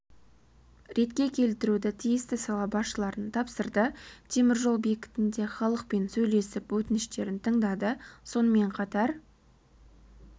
ретке келтіруді тиісті сала басшыларына тапсырды темір жол бекітінде халықпен сөйлесіп өтініштерін тыңдады сонымен қатар